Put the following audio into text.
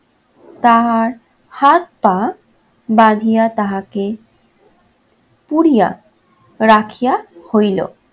তার হাত-পা বাঁধিয়া তাহাকে পুড়িয়া রাখিয়া হইল।